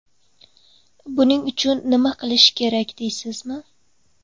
Buning uchun nima qilish kerak deysizmi?